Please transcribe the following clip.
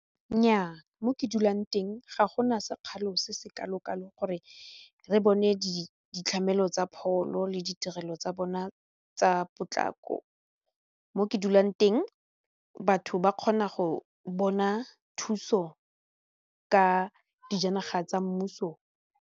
Nnyaa, mo ke dulang teng ga gona sekgalo se se kalo kalo gore re bone ditlhamelo tsa pholo le ditirelo tsa bona tsa potlako mo ke dulang teng batho ba kgona go bona thuso ka dijanaga tsa mmuso.